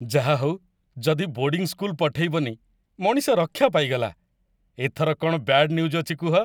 ଯାହା ହଉ, ଯଦି ବୋର୍ଡ଼ିଂ ସ୍କୁଲ୍‌ ପଠେଇବନି, ମଣିଷ ରକ୍ଷା ପାଇଗଲା । ଏଥର କ'ଣ ବ୍ୟାଡ଼୍ ନ୍ୟୁଜ୍ ଅଛି କୁହ ।